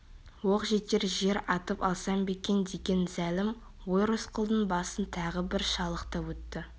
оқ жетер жер атып алсам ба екен деген зәлім ой рысқұлдың басын тағы бір шалықтап өтті